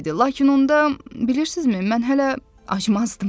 Lakin onda, bilirsizmi, mən hələ acmazdım.